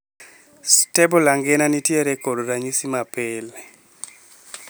Stable angina nitiere kod ranyisi mapile.